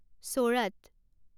চোৰাত